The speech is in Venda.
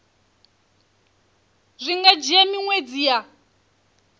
zwi nga dzhia miṅwedzi ya